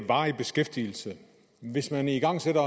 varig beskæftigelse hvis man igangsætter